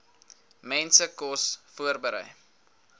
mense kos voorberei